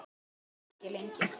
Sú gleði varði ekki lengi.